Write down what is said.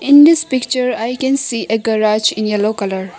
In this picture I can see a garage in yellow colour.